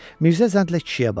Mirzə zənlə kişiyə baxdı.